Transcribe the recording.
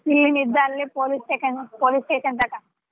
ಇಲ್ಲಿ ಅಲ್ಲಿ police station ನು police station ದಾಗ.